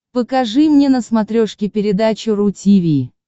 покажи мне на смотрешке передачу ру ти ви